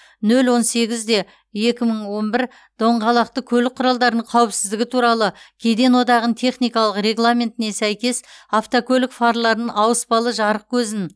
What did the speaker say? нөл он сегіз де екі мың он бір доңғалақты көлік құралдарының қауіпсіздігі туралы кеден одағының техникалық регламентіне сәйкес автокөлік фарларын ауыспалы жарық көзін